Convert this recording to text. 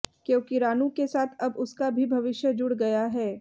क्योंकि रानू के साथ अब उसका भी भविष्य जुड़ गया है